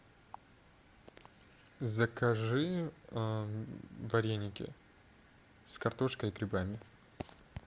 закажи вареники с картошкой и грибами